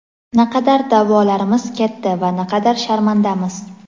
Naqadar da’volarimiz katta va naqadar sharmandamiz.